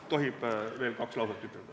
Kas tohib veel kaks lauset ütelda?